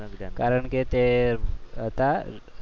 કારણ કે તે હતા